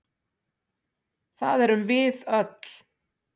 Það erum við öll.